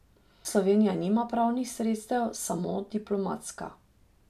Slovenija nima pravnih sredstev, samo diplomatska.